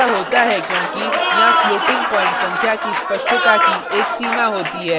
ऐसा होता है क्योंकि यहाँ floating प्वाईंट संख्या की स्पष्टता की एक सीमा होती है